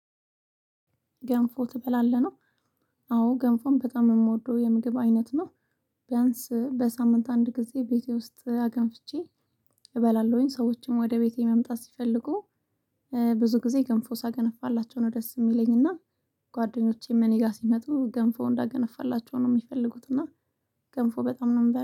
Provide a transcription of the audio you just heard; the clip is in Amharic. ገንፎ ትበላለህ ነው? አዎ ገንፎን በጣም የምወደው የምግብ አይነት ነው። ቢያንስ በሳምንት አንድ ጊዜ ቤቴ ውስጥ አገንፍቼ። እበላለሁኝ ሰዎችም ወደ ቤቴ መምጣት ሲፈልጉ። ብዙ ጊዜ ገንፎ ሳገነፋላቸው ነው ደስ የሚለኝ እና። ጓደኞቼም እኔ ጋር ሲመጡ ገንፎ እንዳገነፋላቸው ነው የሚፈልጉት እና። ገንፎ በጣም ነው የምበላው